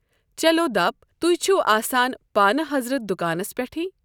چلو دپ تُہۍ چھُ آسَان پانہٕ حضرت دُکانَس پٮ۪ٹھٕے۔